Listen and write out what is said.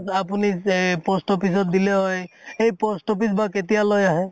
আপুনি এই post office ত দিলে হয়, এই post office বা কেতিয়া লৈ আহে